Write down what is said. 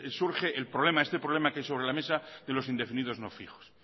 surge el problema este problema que hay sobre la mesa de los indefinidos no fijos